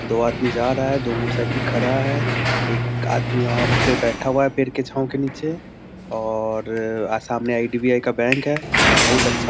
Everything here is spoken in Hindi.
दो आदमी जा रहा है दो मोटर साइकिल खड़ा है एक आदमी वहाँ पे बैठा हुआ है पेड़ के छाव के नीचे और सामने आई.डी.बी.आई. बैंक है बहुत अच्छा।